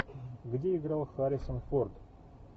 где играл харрисон форд